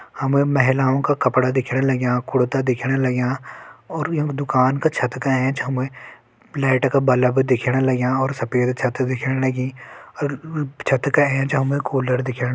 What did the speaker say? हमे महिलाओं का कपड़ा दिखण लग्यां कुरता दिख्येंण लग्यां और यम दुकान का छत का एंच हमें लाइट का बल्ब दिखण लग्यां और सफेद छत दिखण लगीं अर छत का एंच हमि कूलर दिखण --